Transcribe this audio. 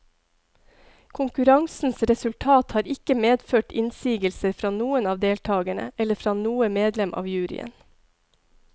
Konkurransens resultat har ikke medført innsigelser fra noen av deltagerne eller fra noe medlem av juryen.